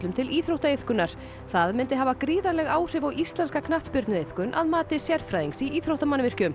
til íþróttaiðkunar það myndi hafa gríðarleg áhrif á íslenska knattspyrnuiðkun að mati sérfræðings í íþróttamannvirkjum